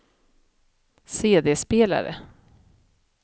CD-spelare